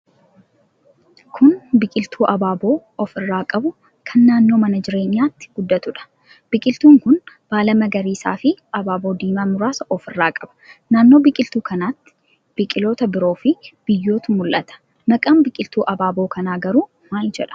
Kun biqiltuu abaaboo of irraa qabu kan naannoo mana jireenyaatti guddatuudha. Biqiltuun kun baala magariisaafi abaaboo diimaa muraasa ofirraa qaba. Naannoo biqiltuu kanaa biqiltoota biroofi biyyootu mul'ata. Maqaan biqiltuu abaaboo kanaa garuu maal jedhama?